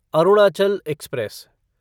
Arunachal express